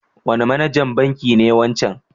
Wane manajan banki ne wancan?